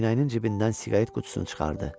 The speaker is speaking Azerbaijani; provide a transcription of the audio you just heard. Köynəyinin cibindən siqaret qutusunu çıxardı.